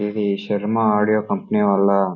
ఇది Sharma audio company వాళ్ళ --